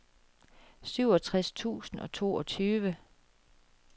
syvogtres tusind og toogtyve